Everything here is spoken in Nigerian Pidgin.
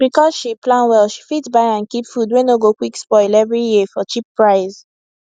because she plan well she fit buy and keep food wey no go quick spoil every year for cheap price